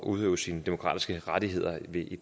udøve sine demokratiske rettigheder